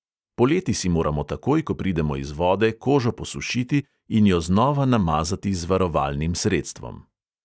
Poleti si moramo takoj, ko pridemo iz vode, kožo posušiti in jo znova namazati z varovalnim sredstvom.